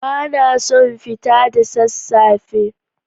Ba na son fita da sassafe.